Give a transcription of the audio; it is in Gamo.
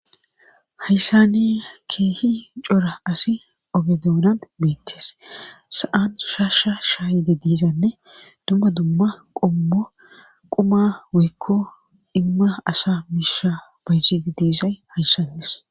Hayssani keehi cora asi ogedoonan beettees sa'an shaasha shaayide diizanne dumma dumma qommo quma wikko imma asa miisha bayzide diisay hayssandis.